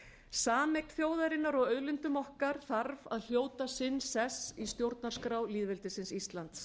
sameign þjóðarinnar á auðlindum okkar þarf að hljóta sinn sess í stjórnarskrá lýðveldisins íslands